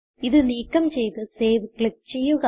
ഇത് നീക്കം ചെയ്ത് സേവ് ക്ലിക്ക് ചെയ്യുക